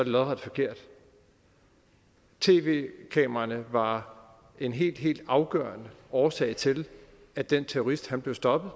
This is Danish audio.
lodret forkert tv kameraerne var en helt helt afgørende årsag til at den terrorist blev stoppet